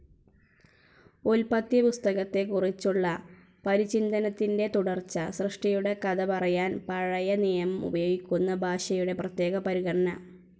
ഉല്പത്തിപ്പുസ്തകത്തെക്കുറിച്ചുള്ള പരിചിന്തനത്തിൻ്റെ തുടർച്ച. സൃഷ്ടിയുടെ കഥ പറയാൻ പഴയ നിയമം ഉപയോഗിക്കുന്ന ഭാഷയുടെ പ്രത്യേക പരിഗണന.